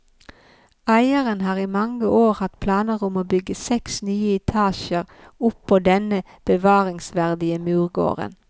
Eieren har i mange år hatt planer om å bygge seks nye etasjer oppå denne bevaringsverdige murgården.